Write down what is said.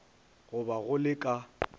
go ba go le ka